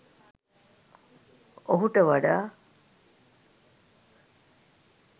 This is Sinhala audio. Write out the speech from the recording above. ඔහුට වඩා